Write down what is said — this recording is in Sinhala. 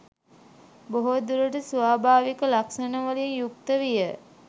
බොහෝ දුරට ස්වාභාවික ලක්‍ෂණවලින් යුක්ත විය.